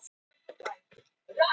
Að því loknu verður efninu eytt